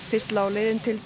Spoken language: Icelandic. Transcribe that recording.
fyrst lá leiðin til